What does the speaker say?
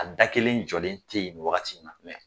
A da kelen jɔlen tɛ yen nin wagati in na.